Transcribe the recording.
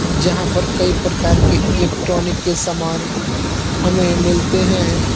जहाँ पर कई प्रकार के इलेक्ट्रॉनिक के सामान हमें मिलते हैं।